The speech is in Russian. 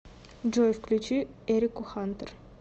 джой включи эрику хантер